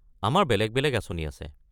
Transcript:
আমাৰ বেলেগ বেলেগ আঁচনি আছে।